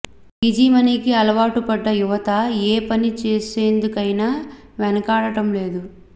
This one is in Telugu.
ఈజీ మనీకి అలవాటు పడ్డ యువత ఏ పని చేసేందుకైనా వెనుకాడటం లేదు